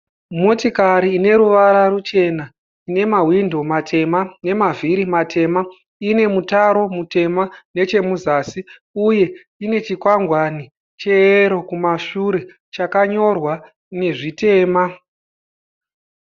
Motikari ine ruvara ruchena nemahwindo matema nemavhiri matema. Ine mutaro mutema nechemuzasi uye ine chikwangwani cheyero kumashure chakanyorwa nezvitema.